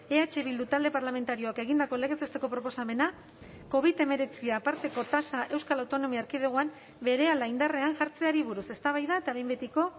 eh bildu talde parlamentarioak egindako legez besteko proposamena covid hemeretzi aparteko tasa euskal autonomia erkidegoan berehala indarrean jartzeari buruz eztabaida eta behin betiko